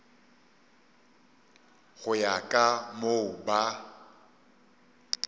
go ya ka moo ba